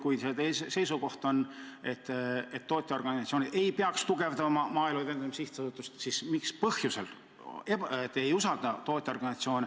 Kui see seisukoht on, et tootjaorganisatsioonid ei peaks tugevdama Maaelu Edendamise Sihtasutust, siis mis põhjusel te neid ei usalda?